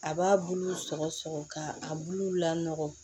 A b'a bulu sɔgɔsɔgɔ ka a buluw la nɔgɔn